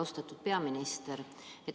Austatud peaminister!